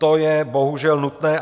To je bohužel nutné.